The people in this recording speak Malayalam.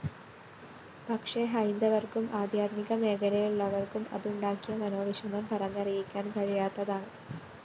പക്ഷേ ഹൈന്ദവര്‍ക്കും ആധ്യാത്മിക മേഖലയിലുള്ളവര്‍ക്കും അതുണ്ടാക്കിയ മനോവിഷമം പറഞ്ഞറിയിക്കാന്‍ കഴിയാത്തതാണ്‌